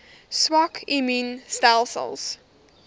swak immuun stelsels